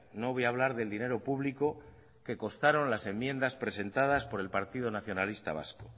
no voy a hablar del dinero público que costaron las enmiendas presentadas por el partido nacionalista vasco